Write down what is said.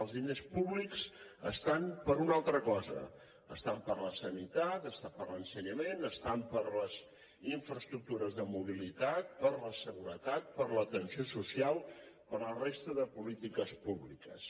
els diners públics estan per a una altra cosa estan per a la sanitat estan per a l’ensenyament estan per a les infraestructures de mobilitat per a la seguretat per a l’atenció social per a la resta de polítiques públiques